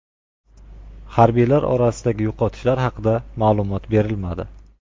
Harbiylar orasidagi yo‘qotishlar haqida ma’lumot berilmadi.